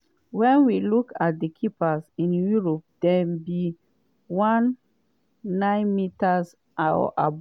“wen we look at keepers in europe dem be 1.9 metres or above.